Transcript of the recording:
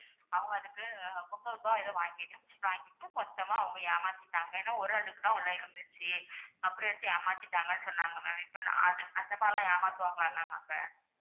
அவங்க அதுக்கு முந்நூறு ரூபா ஏதோ வாங்கி~வாங்கிட்டு மொத்தமா அவங்க ஏமத்திட்டாங்க. ஏன்னா ஒரு அடுக்கு தான் உள்ள இருந்துச்சு. அப்படி வச்சு ஏமாத்திடாங்கன்னு சொன்னாங்க ma'am இப்போ அது~அந்த மாதிரி எல்லாம் ஏமாத்துவாங்களா ma'am அங்க?